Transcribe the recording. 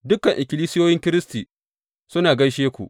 Dukan ikkilisiyoyin Kiristi suna gaishe ku.